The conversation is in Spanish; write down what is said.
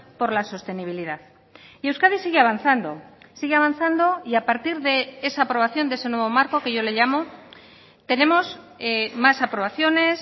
por la sostenibilidad y euskadi sigue avanzando sigue avanzando y a partir de esa aprobación de ese nuevo marco que yo le llamo tenemos más aprobaciones